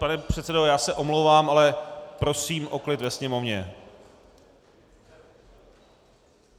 Pane předsedo, já se omlouvám, ale prosím o klid ve sněmovně.